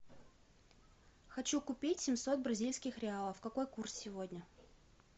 хочу купить семьсот бразильских реалов какой курс сегодня